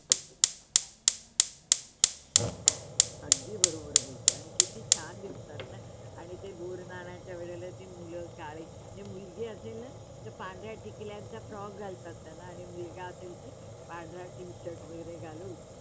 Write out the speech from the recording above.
अगदी बरोबर बोलते आणि कित्ती छान दिसतात ना आणि ते गुडणणाच्या वेळी जे मुलं काळे जी मुलगी असेल ना तर पांढऱ्या टिकल्यांचा Frock घालतात त्याला आणि मुलगा असेल तर पांढरा Tshirt वगैरे घालून